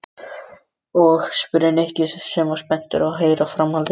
Og? spurði Nikki sem var spenntur að heyra framhaldið.